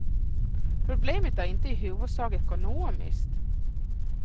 Problemet är inte i huvudsak ekonomiskt.